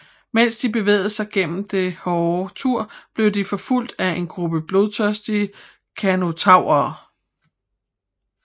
Mens de bevæger sig gennem den hårde tur bliver de forfulgt af en gruppe blodtørstige Carnotaurere